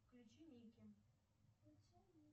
включи ники